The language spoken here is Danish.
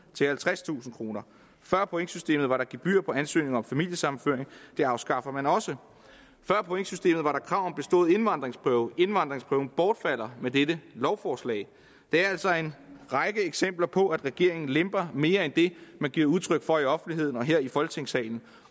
til halvtredstusind kroner før pointsystemet var der gebyr på ansøgninger om familiesammenføring det afskaffer man også før pointsystemet var der krav om bestået indvandringsprøve indvandringsprøven bortfalder med dette lovforslag det er altså en række eksempler på at regeringen lemper mere end det man giver udtryk for i offentligheden og her folketingssalen